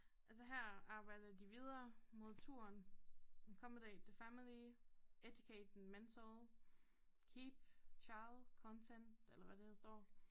Og så her arbejder de videre mod turen accomodate the family educate mental keep child content eller hvad det her står